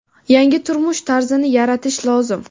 yangi turmush tarzini yaratish lozim.